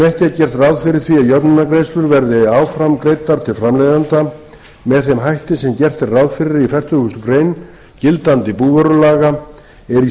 gert ráð fyrir því að jöfnunargreiðslur verði áfram greiddar til framleiðenda með þeim hætti sem gert er ráð fyrir í fertugustu grein gildandi búvörulaga er í